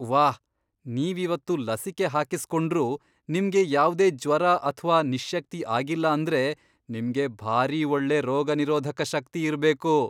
ವಾಹ್! ನೀವಿವತ್ತು ಲಸಿಕೆ ಹಾಕಿಸ್ಕೊಂಡ್ರೂ ನಿಮ್ಗೆ ಯಾವ್ದೇ ಜ್ವರ ಅಥ್ವಾ ನಿಶ್ಶಕ್ತಿ ಆಗಿಲ್ಲ ಅಂದ್ರೆ ನಿಮ್ಗೆ ಭಾರೀ ಒಳ್ಳೆ ರೋಗನಿರೋಧಕ ಶಕ್ತಿ ಇರ್ಬೇಕು!